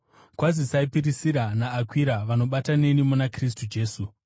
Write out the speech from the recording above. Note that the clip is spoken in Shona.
Kwazisai Pirisira naAkwira, vanobata neni muna Kristu Jesu.